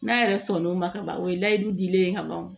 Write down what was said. N'a yɛrɛ sɔnn'o ma ka ban o ye layidu dilen ye ka ban o